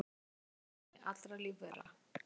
Erfðaefni allra lífvera, en